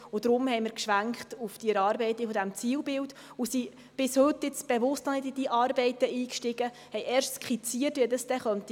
Deshalb sind wir auf die Erarbeitung dieses Zielbilds bis heute bewusst noch nicht eingestiegen, sondern haben erst skizziert, wie diese dann gehen könnte.